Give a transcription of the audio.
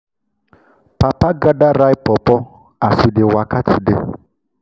papa gather ripe pawpaw as we dey waka today.